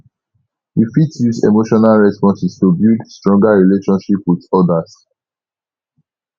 you fit use emotional responses to build stronger relationship with others